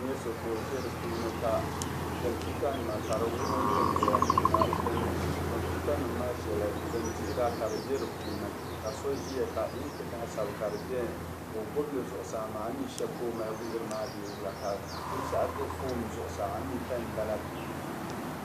N-nyɛ so ko' ʒe di puuni ka computa nima ka di wurim wurim doya ka computa nim maa shɛla, din dihira ka di di be di puuni. Ka so Ʒiya inki laasabu ka di bieni ko' gbibi li zuɣusaa maa, ami shɛba ko'mali wuhiri maa bee wula. Binshɛɣu do phone zuɣusaa, ami pen m-bala bee?